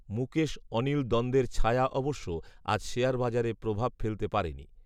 মুকেশ অনিল দ্বন্দের ছায়া অবশ্য আজ শেয়ার বাজারে প্রভাব ফেলতে পারেনি